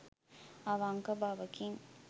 අවංක බවකින්